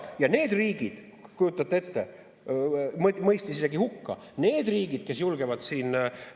Ja kujutate ette, mõistis isegi hukka need riigid, kes julgevad.